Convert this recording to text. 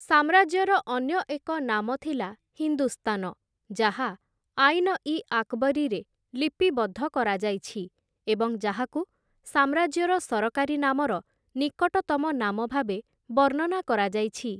ସାମ୍ରାଜ୍ୟର ଅନ୍ୟ ଏକ ନାମ ଥିଲା ହିନ୍ଦୁସ୍ତାନ, ଯାହା 'ଆଇନ-ଇ-ଆକ୍‌ବରୀ'ରେ ଲିପିବଦ୍ଧ କରାଯାଇଛି ଏବଂ ଯାହାକୁ ସାମ୍ରାଜ୍ୟର ସରକାରୀ ନାମର ନିକଟତମ ନାମ ଭାବେ ବର୍ଣ୍ଣନା କରାଯାଇଛି ।